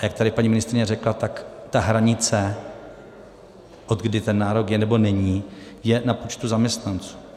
A jak tady paní ministryně řekla, tak ta hranice, odkdy ten nárok je, nebo není, je na počtu zaměstnanců.